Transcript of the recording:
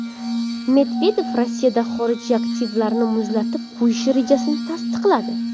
Medvedev Rossiyada xorijiy aktivlarni muzlatib qo‘yish rejasini tasdiqladi.